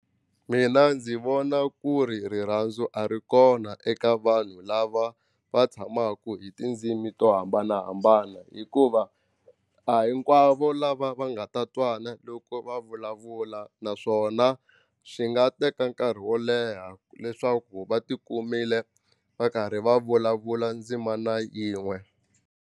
Mina ndzi vona ku ri rirhandzu a ri kona eka vanhu lava va tshamaku hi tindzimi to hambanahambana hikuva a hinkwavo lava va nga nga ta twana loko va vulavula naswona swi nga teka nkarhi wo leha leswaku va ti kumile va karhi va vulavula ndzimana yin'we.